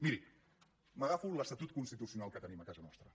miri m’agafo l’estatut constitucional que tenim a casa nostra